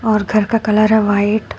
और घर का कलर है व्हाइट ।